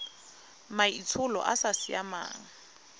maitsholo a a sa siamang